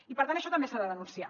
i per tant això també s’ha de denunciar